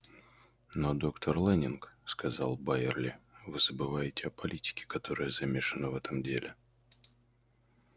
но доктор лэннинг сказал байерли вы забываете о политике которая замешана в этом деле